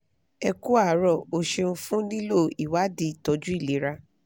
ẹ ku àárọ̀ o ṣeun fún lílo ìwádìí ìtọ́jú ilera